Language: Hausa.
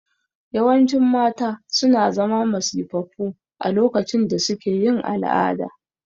Yawancin mata suna zama masifaffu a lokacin da suke yin al'ada